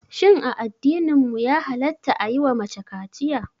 Shin a addininmu ya halatta a yiwa mace kaciya?